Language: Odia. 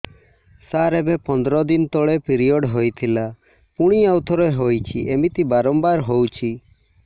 ସାର ଏବେ ପନ୍ଦର ଦିନ ତଳେ ପିରିଅଡ଼ ହୋଇଥିଲା ପୁଣି ଆଉଥରେ ହୋଇଛି ଏମିତି ବାରମ୍ବାର ହଉଛି